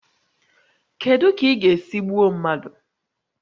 Kedu ka ị ga-esi gbuo mmadụ?